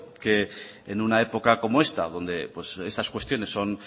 que en una época como esta donde estas cuestiones son